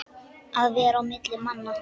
Að vera á milli manna!